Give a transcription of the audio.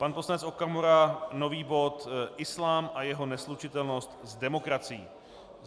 Pan poslanec Okamura - nový bod Islám a jeho neslučitelnost s demokracií.